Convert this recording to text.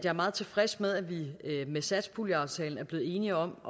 er meget tilfreds med at vi med satspuljeaftalen er blevet enige om